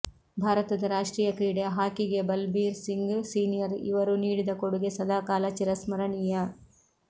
ಭಾರತದ ರಾಷ್ಟ್ರೀಯ ಕ್ರೀಡೆ ಹಾಕಿಗೆ ಬಲ್ಬೀರ್ ಸಿಂಗ್ ಸೀನಿಯರ್ ಇವರು ನೀಡಿದ ಕೊಡುಗೆ ಸದಾಕಾಲ ಚಿರಸ್ಮರಣೀಯ